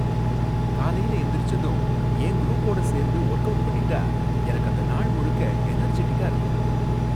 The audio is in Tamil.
காலையில எந்திரிச்சதும் என் குரூப்போட சேர்ந்து வொர்க் அவுட் பண்ணிட்டா எனக்கு அந்த நாள் முழுக்க எனர்ஜெட்டிக்கா இருக்கும்.